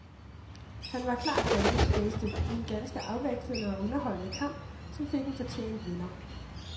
Han var klart banens bedste i en ganske afvekslende og underholdende kamp, som fik en fortjent vinder.